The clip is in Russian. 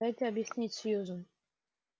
дайте объяснить сьюзен